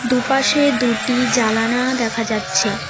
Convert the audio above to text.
দুপাশে দুটি জালানা দেখা যাচ্ছে।